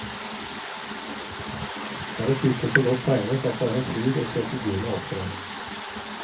Her er typer så godt tegnet at det er en fryd å se figurene opptre.